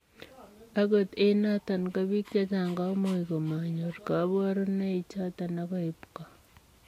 Angot eng notok ko piik chechang komuuch komanyoor kabarunoi chotok agoi ipko